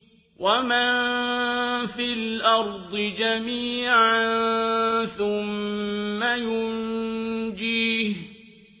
وَمَن فِي الْأَرْضِ جَمِيعًا ثُمَّ يُنجِيهِ